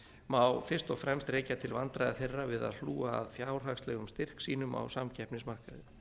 má fyrst og fremst rekja til vandræða þeirra við að hlúa að fjárhagslegum styrk sínum á samkeppnismarkaði